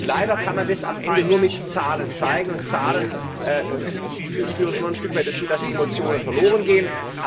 Leider kann man das am Ende nur mit Zahlen zeigen, und Zahlen führen immer ein Stück weit dazu, dass Emotionen verloren gehen.